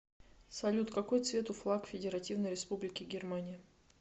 салют какой цвет у флаг федеративной республики германия